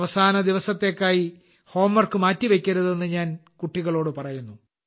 അവസാന ദിവസത്തെക്കായി ഹോംവർക്ക് മാറ്റി വയ്ക്കരുതെന്നു ഞാൻ കുട്ടികളോട് പറയുന്നു